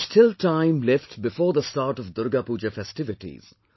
There is still time left before the start of Durga Pooja festivities